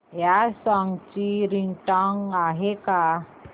या सॉन्ग ची रिंगटोन आहे का